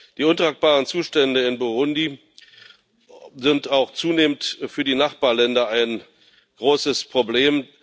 Die untragbaren Zustände in Burundi sind auch zunehmend für die Nachbarländer ein großes Problem.